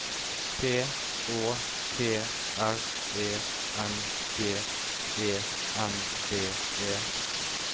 P Å T R E N G E N D E